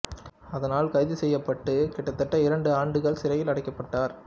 அதனால் கைது செய்யப்பட்டு கிட்டத்தட்ட இரண்டு ஆண்டுகள் சிறையில் அடைக்கப்பட்டார்